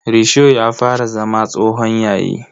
Risho ya fara zama tsohon yayi.